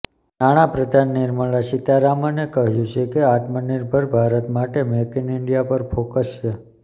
નાણાપ્રધાન નિર્મલા સીતારામને કહ્યું છે કે આત્મનિર્ભર ભારત માટે મેક ઇન ઇન્ડિયા પર ફોકસ છે